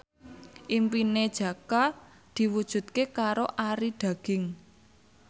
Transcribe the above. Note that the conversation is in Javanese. impine Jaka diwujudke karo Arie Daginks